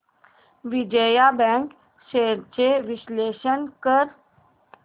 Vijaya bank shares चे विश्लेषण कर